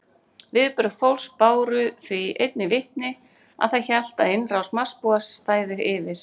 Viðbrögð fólks báru því einnig vitni að það hélt að innrás Marsbúa stæði yfir.